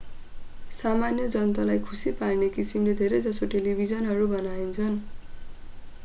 सामान्य जनतालाई खुशी पार्ने किसिमले धेरै जसो टेलिभिजनहरू बनाइन्छन्